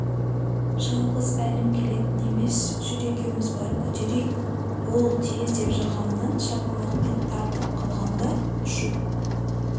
жалғыз әлім келетін емес жүр екеуміз барып көтерейік бол тез деп жағымнан шапалақпен тартып қалғанда ұшып